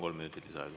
Kolm minutit lisaaega.